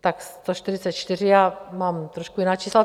Tak 144, já mám trošku jiná čísla.